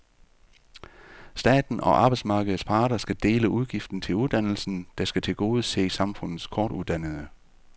Staten og arbejdsmarkedets parter skal dele udgiften til uddannelsen, der skal tilgodese samfundets kortuddannede.